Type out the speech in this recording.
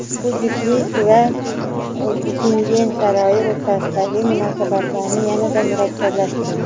bu juftlik va Bukingem saroyi o‘rtasidagi munosabatlarni yanada murakkablashtiradi.